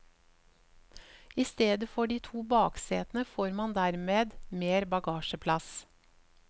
I stedet for de to baksetene får man dermed mer bagasjeplass.